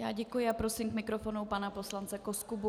Já děkuji a prosím k mikrofonu pana poslance Koskubu.